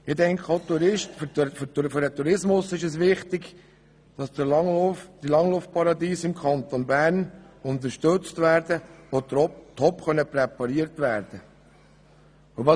Ich denke auch, dass es für den Tourismus wichtig ist, dass die Langlaufparadiese im Kanton Bern unterstützt und topp präpariert werden können.